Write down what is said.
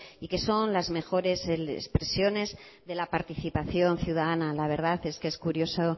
y que son las mejores expresiones de la participación ciudadana la verdad es que es curioso